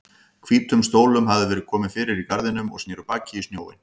Hvítum stólum hafði verið komið fyrir í garðinum og sneru baki í sjóinn.